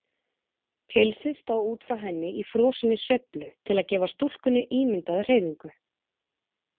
Pilsið stóð út frá henni í frosinni sveiflu til að gefa stúlkunni ímyndaða hreyfingu.